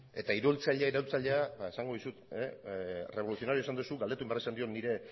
eta iraultzaile iraultzailea ba esan dizut revolucionario esan duzu galdetu egin behar izan diot nire